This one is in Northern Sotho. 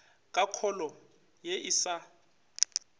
ka kholo ye e sa